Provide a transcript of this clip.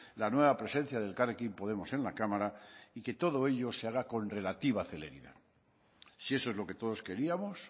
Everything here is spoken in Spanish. la nueva presencia de elkarrekin podemos en la cámara y que todo ello se haga con relativa celeridad si eso es lo que todos queríamos